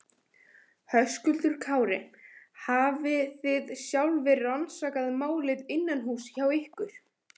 Höskuldur Kári: Hafi þið sjálfir rannsakað málið innanhúss hjá ykkur?